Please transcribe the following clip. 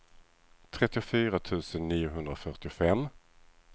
trettiofyra tusen niohundrafyrtiofem